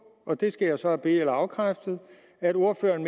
og det skal jeg så have be eller afkræftet at ordføreren